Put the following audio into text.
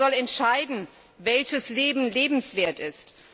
Wer aber soll entscheiden, welches Leben lebenswert ist?